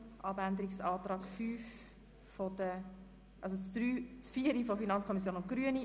Wer den Abänderungsantrag 6 annehmen will, stimmt Ja, wer dies nicht möchte, stimmt Nein.